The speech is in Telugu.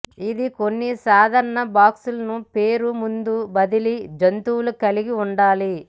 ఇది కొన్ని సాధారణ బాక్సులను పేరు ముందు బదిలీ జంతువులు కలిగి ఉండాలి